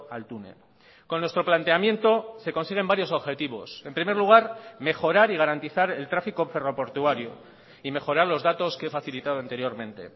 al túnel con nuestro planteamiento se consiguen varios objetivos en primer lugar mejorar y garantizar el tráfico ferroportuario y mejorar los datos que he facilitado anteriormente